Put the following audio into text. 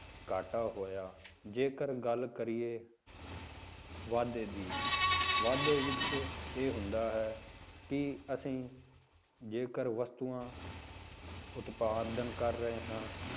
ਘਾਟਾ ਹੋਇਆ ਜੇਕਰ ਗੱਲ ਕਰੀਏ ਵਾਧੇ ਦੀ, ਵਾਧੇ ਵਿੱਚ ਇਹ ਹੁੰਦਾ ਹੈ ਕਿ ਅਸੀਂ ਜੇਕਰ ਵਸਤੂਆਂ ਉਤਪਾਦਨ ਕਰ ਰਹੇ ਹਾਂ,